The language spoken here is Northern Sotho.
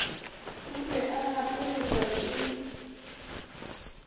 o be a gapeletšwa ke